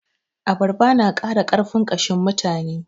Abarba na ƙara ƙarfin ƙashin mutane.